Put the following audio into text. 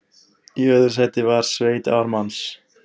Í öðru sæti var sveit Ármanns